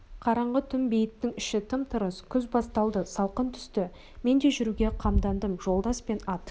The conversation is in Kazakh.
қараңғы түн бейіттің іші тым-тырыс күз басталды салқын түсті мен де жүруге қамдандым жолдас пен ат